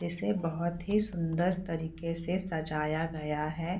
इसे बहुत ही सुंदर तरीके से सजाया गया है।